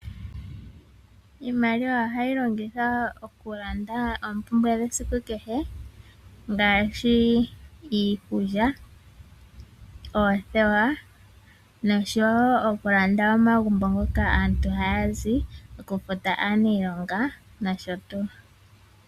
Iimaliwa ohayi longithwa oku landa oompumbwe dhesiku kehe ngaashi iikulya, oothewa noshowo oku landa omagumbo ngoka aantu haya zi, oku futa aaniilonga nosho tuu.